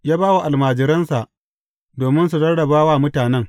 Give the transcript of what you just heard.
Ya ba wa almajiransa, domin su rarraba wa mutanen.